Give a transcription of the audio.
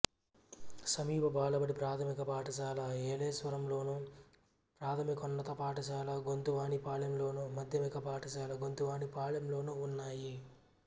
సమీప బాలబడి ప్రాథమిక పాఠశాల ఏలేశ్వరంలోను ప్రాథమికోన్నత పాఠశాల గొంతువానిపాలెంలోను మాధ్యమిక పాఠశాల గొంతువానిపాలెంలోనూ ఉన్నాయి